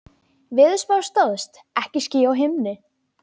Veðurspá stóðst, ekki ský á himni.